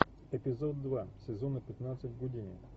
эпизод два сезона пятнадцать гудини